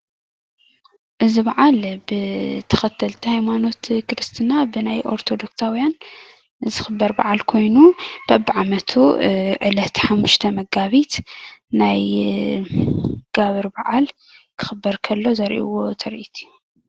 እዚ በዓል ብተኽተልቲ ሃይማኖት ክርስትና ብናይ ኦርቶዶክሳውያን ዝኽበር በዓል ኮይኑ በብዓመቱ ዕለት 5 መጋቢት ናይ ጋብር በዓል ክኽበር ከሎ ዘርእይዎ ትርኢት እዩ።